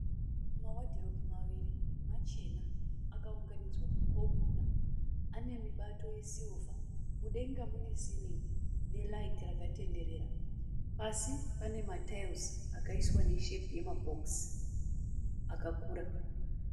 Mawadhiropu maviri machena akaunganidzwa mukona ane mibato yesirivha mudenga mune siringi neraiti rakatenderera pasi pane matayira akaiswa neshepi yemabhokisi akukura.